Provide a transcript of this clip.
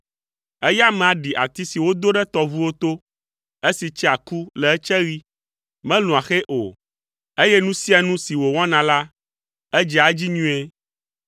Eya amea ɖi ati si wodo ɖe tɔʋuwo to, esi tsea ku le etseɣi, melũa xe o, eye nu sia nu si wòwɔna la, edzea edzi nyuie.